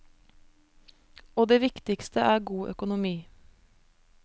Og det viktigste er god økonomi.